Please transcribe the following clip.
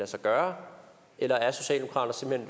sig gøre eller er socialdemokratiet